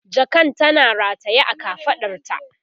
jakan tana rataye a kafaɗarta